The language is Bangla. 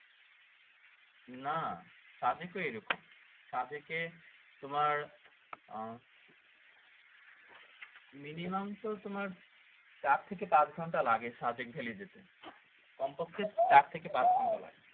না সাদেক কেও এরকম সাদেকে তোমার আহ মিনিমাম তো তোমার চার থেকে পাঁচ ঘন্টা লাগে সাদেক ভেলি যেতে কমপক্ষে চার থেকে পাঁচ ঘন্টা লাগে